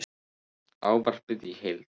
Ávarpið í heild